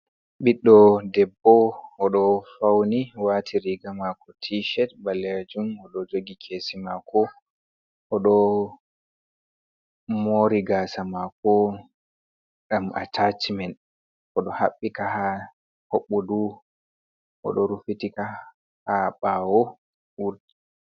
Ɓiɗdo debbo o ɗo fauni wati riga mako tished ɓalleyjum odo jogi kesi mako oɗo o mori gasa mako ɗam a tachmen oɗo habbika ha hoɓɓudu oɗo rufitika ha bawo wurgi.